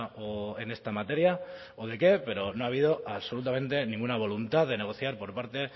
o en esta materia o de qué pero no ha habido absolutamente ninguna voluntad de negociar por parte